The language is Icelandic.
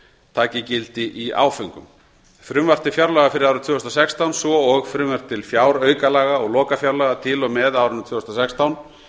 taki gildi í áföngum frumvarp til fjárlaga fyrir árið tvö þúsund og sextán svo og frumvörp til fjáraukalaga og lokafjárlaga til og með árinu tvö þúsund og sextán